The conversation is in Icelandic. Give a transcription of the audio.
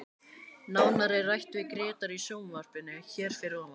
Nánar er rætt við Grétar í sjónvarpinu hér að ofan.